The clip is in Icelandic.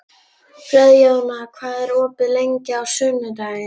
Friðjóna, hvað er opið lengi á sunnudaginn?